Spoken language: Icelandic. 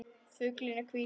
Fuglinn er hvítur.